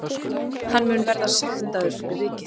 Hann mun verða sektaður fyrir vikið